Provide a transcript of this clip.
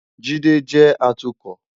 Jide jé átùkò